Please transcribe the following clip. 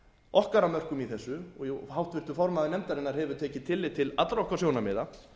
okkar að mörkum í þessu og háttvirtur formaður nefndarinnar hefur tekið tillit til allra okkar sjónarmiða